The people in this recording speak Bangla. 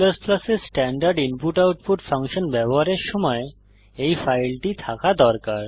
C এ স্ট্যান্ডার্ড ইনপুট আউটপুট ফাংশন ব্যবহারের সময় এই ফাইলটি থাকা দরকার